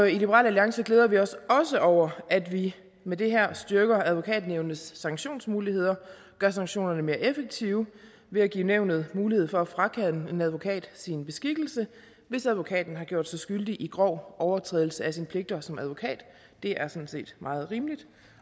i liberal alliance glæder vi os også over at vi med det her styrker advokatnævnets sanktionsmuligheder og gør sanktionerne mere effektive ved at give nævnet mulighed for at frakende en advokat sin beskikkelse hvis advokaten har gjort sig skyldig i grov overtrædelse af sine pligter som advokat det er sådan set meget rimeligt